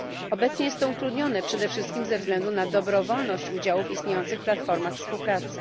Obecnie jest to utrudnione przede wszystkim ze względu na dobrowolność udziału w istniejących platformach współpracy.